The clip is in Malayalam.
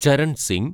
ചരൺ സിങ്